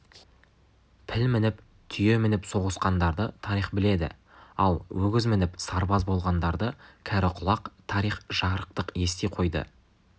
піл мініп түйе мініп соғысқандарды тарих біледі ал өгіз мініп сарбаз болғандарды кәрі құлақ тарих жарықтық ести қойды